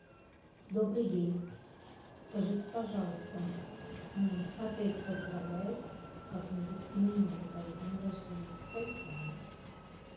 добрый день скажите пожалуйста отель поздравляет как нибудь именинников с днем рождения спасибо